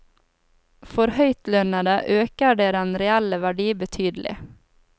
For høytlønnede øker det den reelle verdi betydelig.